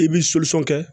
I b'i kɛ